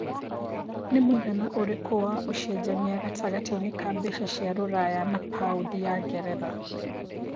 nĩ mũigana ũrĩkũ wa ũcenjanĩa gatagatiinĩ ka mbeca cia rũraya na paũndi ya ngeretha